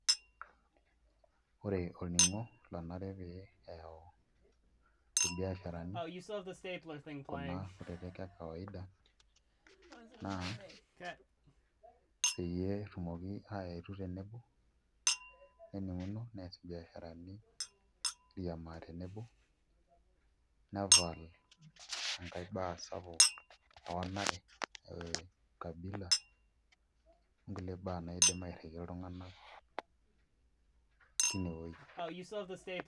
Ore olning'o onare pee eyawu ilbiasharani kuna kutitik e kawaida naa peeyie etumoki aetu tenebo neninguno neas ibiasharani airiamaa tenebo nepal ngae baa sapuk oo enare e ukabila oo ngulie bae naaidim airrikie iltunganak teine wuoi